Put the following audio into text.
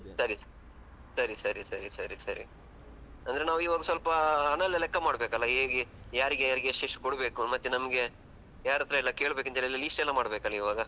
ಸರಿ ಸರಿ ಸರಿ ಸರಿ ಸರಿ ಸರಿ ಅಂದ್ರೆ ನಾವು ಸ್ವಲ್ಪ ಹಣ ಎಲ್ಲಾ ಲೆಕ್ಕ ಮಾಡ್ಬೇಕಲ್ಲ ಹೇಗೆ ಯಾರಿಗೆ ಯಾರಿಗೆ ಎಷ್ಟು ಎಷ್ಟು ಕೊಡ್ಬೇಕು ಮತ್ತೆ ನಮ್ಗೆ ಯಾರತ್ರೆಲ್ಲ ಕೇಳ್ಬೇಕು ಇದೆಲ್ಲ list ಮಾಡ್ಬೇಕಲ್ಲ ಇವಾಗ.